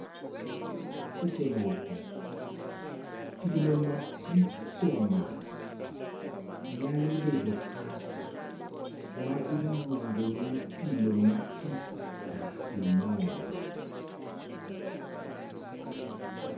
Seche moko, pilomatrixomas nyalo bedo kansa (ma iluongo ni pilomatrix carcinoma).